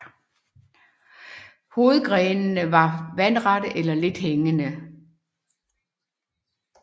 Hovedgrenene er vandrette eller lidt hængende